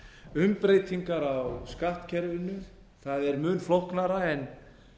umbreytingar á skattkerfinu það er mun flóknara en